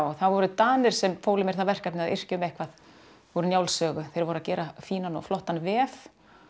það voru Danir sem fólu mér það verkefni að yrkja um eitthvað úr Njálssögu þeir voru að gera fínan og flottan vef